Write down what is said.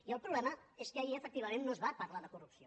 i el problema és que ahir efectivament no es va parlar de corrupció